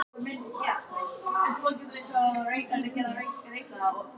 Þau fela í sér sannleikann í öllum einfaldleika sínum.